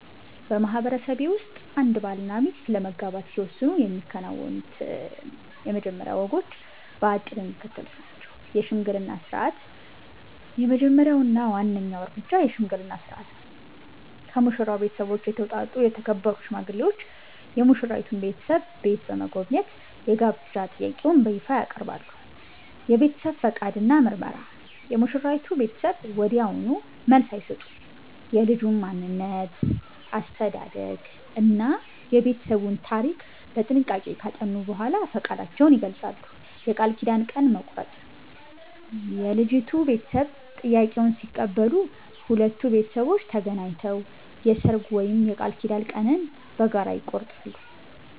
በማህበረሰቤ ውስጥ አንድ ባልና ሚስት ለመጋባት ሲወስኑ የሚከናወኑት የመጀመሪያ ወጎች በአጭሩ የሚከተሉት ናቸው፦ የሽምግልና ሥርዓት፦ የመጀመሪያው እና ዋናው እርምጃ የሽምግልና ሥርዓት ነው። ከሙሽራው ቤተሰብ የተውጣጡ የተከበሩ ሽማግሌዎች የሙሽራይቱን ቤተሰብ ቤት በመጎብኘት የጋብቻ ጥያቄውን በይፋ ያቀርባሉ። የቤተሰብ ፈቃድ እና ምርመራ፦ የሙሽራይቱ ቤተሰብ ወዲያውኑ መልስ አይሰጡም። የልጁን ማንነት፣ አስተዳደግ እና የቤተሰቡን ታሪክ በጥንቃቄ ካጠኑ በኋላ ፈቃዳቸውን ይገልጻሉ። የቃል ኪዳን ቀን መቁረጥ፦ የልጅቷ ቤተሰብ ጥያቄውን ሲቀበሉ፣ ሁለቱ ቤተሰቦች ተገናኝተው የሰርግ ወይም የቃል ኪዳን ቀንን በጋራ ይቆርጣሉ።